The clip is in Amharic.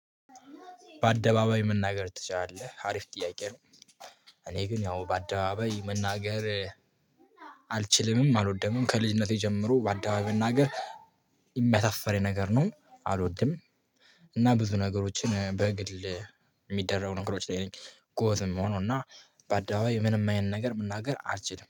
በአደባባይ መናገር ትችላለህ አሪፍ ጥያቄ ነው? እኔ ግን ያው በአደባባይ መናገር አልችልምም አልወደምም ከልጅነቴ ጀምሮ በአደባባይ መናገር የሚያሳፍረኝ ነገር ነው አልወድም። እና ብዙ ነገሮችን በግል የሚደረጉ ነገሮች ላይ ነኝ ጎትም መሆኑ። በአዳዋይ ምንም አይነት ነገር መናገር አልችልም